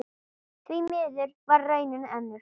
Því miður varð raunin önnur.